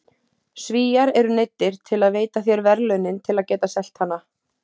Svíar eru neyddir til að veita þér verðlaunin til að geta selt hana.